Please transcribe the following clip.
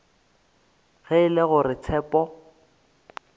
ge e le gore tshepo